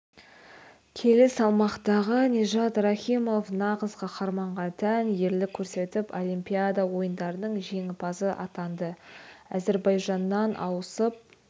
келі салмақтағы нижат рахимов нағыз қаһарманға тән ерлік көрсетіп олимпиада ойындарының жеңімпазы атанды әзербайжаннан ауысып